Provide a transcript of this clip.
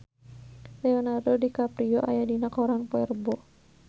Leonardo DiCaprio aya dina koran poe Rebo